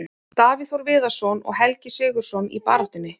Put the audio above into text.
Davíð Þór Viðarsson og Helgi SIgurðsson í baráttunni.